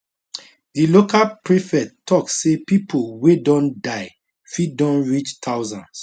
di local prefect tok say pipo wey don die fit don reach thousands